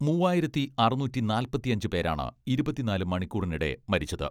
മൂവായിരത്തി അറൂന്നൂറ്റി നാല്പത്തിയഞ്ച് പേരാണ് ഇരുപത്തിനാല് മണിക്കൂറിനിടെ മരിച്ചത്.